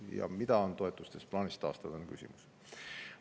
Ja mida on toetustest plaanis taastada, on küsimus.